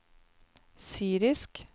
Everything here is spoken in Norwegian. syrisk